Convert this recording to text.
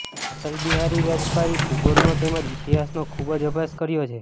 અટલ બિહારી વાજપેયીએ ભૂગોળનો તેમ જ ઈતિહાસનો ખૂબ જ અભ્યાસ કર્યો છે